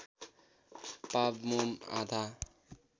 पाव मोम आधा